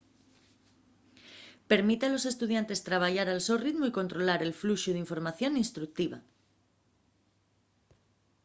permite a los estudiantes trabayar al so ritmu y controlar el fluxu d'información instructiva